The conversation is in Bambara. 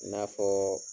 I n'a fɔɔ